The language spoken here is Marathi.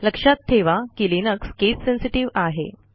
लक्षात ठेवा की लिनक्स केस सेन्सेटिव्ह आहे